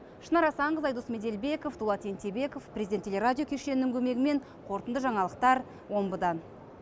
шынар асанқызы айдос меделбеков дулат ентебеков президент телерадио кешенінің көмегімен қорытынды жаңалықтар омбыдан